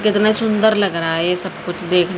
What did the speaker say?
कितना सुंदर लग रहा है ये सब कुछ दे--